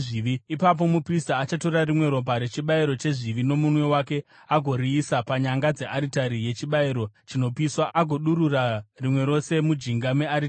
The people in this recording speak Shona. Ipapo muprista achatora rimwe ropa rechibayiro chezvivi nomunwe wake agoriisa panyanga dzearitari yechibayiro chinopiswa agodurura rimwe rose mujinga mearitari.